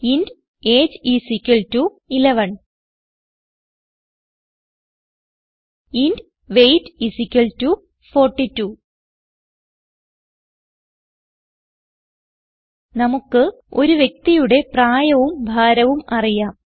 int A G E I S equal to 11 int weight I S equal to 42 നമുക്ക് ഒരു വ്യക്തിയുടെ പ്രായവും ഭാരവും അറിയാം